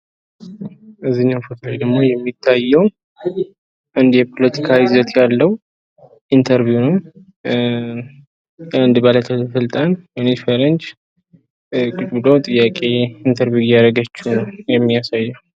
እዚህኛው ፎቶ ላይ ደግሞ የሚታየው የፖለቲካ ይዘት ያለው ኢንተርቪው ነው። ኣንድን ባልስልጣን ሴት ጥያቄ ኢንተርቬው እያደረገችው ያሚያሳይ ነው።